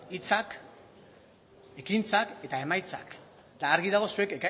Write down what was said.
hitzak ekintzak eta emaitzak eta argi dago zuek